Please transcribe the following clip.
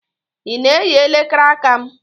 Ị na-eyi elekere aka m?